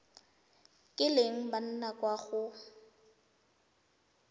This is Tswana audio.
kileng ba nna kwa go